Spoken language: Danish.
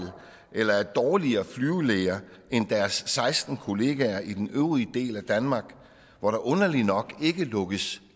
eller er dårligere flyvelæger end deres seksten kollegaer i den øvrige del af danmark hvor der underlig nok ikke lukkes